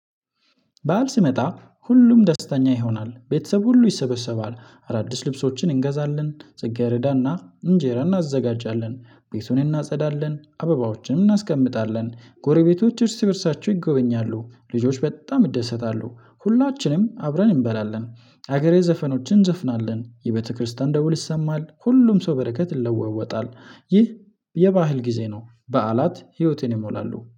በዓል ሲመጣ ሁሉም ደስተኛ ይሆናል ቤተሰብ ሁሉ ይሰበሰባል አዳዲስ ልብሶችን እንገዛለን ጽጌረዳና እንጀራ እናዘጋጃለን። ቤቱን እናጸዳለን አበባዎችንም እናስቀምጣለን ጎረቤቶች እርስ በእርሳቸው ይጎበኛሉ ልጆች በጣም ይደሰታሉ። ሁላችንም አብረን እንበላለን። ሀገራዊ ዘፈኖችን እንዘፍናለን የቤተክርስቲያን ደውል ይሰማል ሁሉም ሰው በረከት ይለወጣል። ይህ የባህል ጊዜ ነው። በዓላት ህይወቴን ይሞላሉ